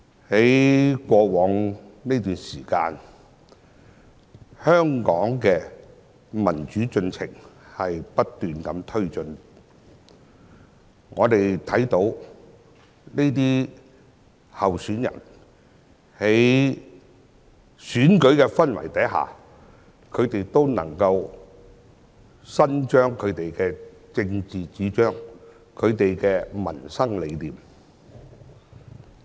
在過往這段時間，香港的民主進程不斷地推進，我們看到這些候選人在選舉的氛圍下，都能夠伸張其政治主張和民生理念。